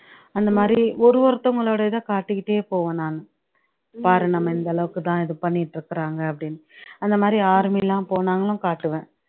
அந்தமாதிரி ஒரு ஒருத்தவங்களோட இத காட்டிகிட்டே போவேன் நானு பாரு நம்ம இந்த அளவுக்கு தான் இது பண்ணீட்டு இருக்குறாங்க அப்படின்னு அந்தமாதிரி army லாம் போனாலும் காட்டுவேன்